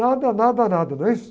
Nada, nada, nada, não é isso?